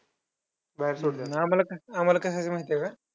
आम्हांला काय आम्हांला काय सांगता माहितीये का?